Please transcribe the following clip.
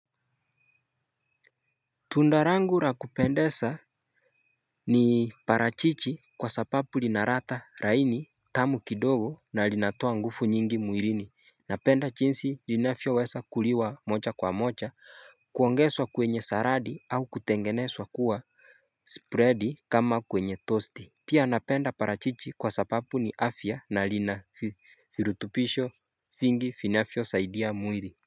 Tunda langu la kupendeza ni parachichi kwa sapapu lina ladha laini tamu kidogo na linatoa nguvu nyingi mwilini. Napenda jinsi linavyoweza kuliwa moja kwa moja kuongezwa kwenye saladi au kutengenezwa kuwa Spread kama kwenye tosti Pia napenda parachichi kwa sababu ni afya na lina virutupisho vingi vinavyo saidia mwili.